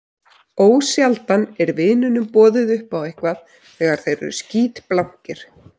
Ósjaldan er vinunum boðið upp á eitthvað þegar þeir eru skítblankir.